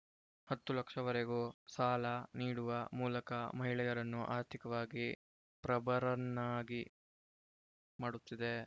ಹತ್ತು ಲಕ್ಷವರೆಗೂ ಸಾಲ ನೀಡುವ ಮೂಲಕ ಮಹಿಳೆಯರನ್ನು ಆರ್ಥಿಕವಾಗಿ ಪ್ರಬರನ್ನಾಗಿ ಮಾಡುತ್ತಿದೆ